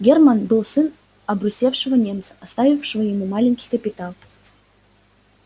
германн был сын обрусевшего немца оставившего ему маленький капитал